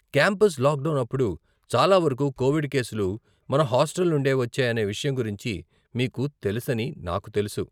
Campus lockdown అప్పుడు చాలావరకు COVID కేసులు మన హాస్టల్ నుండే వచ్చాయనే విషయం గురించి మీకు తెలుసని నాకు తెలుసు.